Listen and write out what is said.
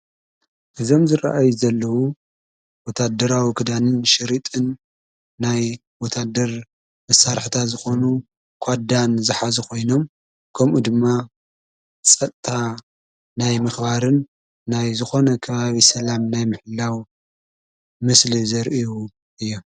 እዞም ዝረአይ ዘለዉ ወታደራዊ ክዳንን ሽሪጥን ናይ ወታድር ምሣርሕታ ዝኾኑ ኳዳን ዝኃ ዚ ኾይኖም ከምኡ ድማ ጸጥታ ናይ ምኽባርን ናይ ዝኾነ ካፊ ሰላም ናይ ምሕላው ምስሊ ዘርአዩ እዮም።